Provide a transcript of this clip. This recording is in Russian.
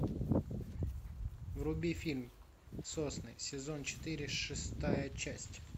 вруби фильм сосны сезон четыре шестая часть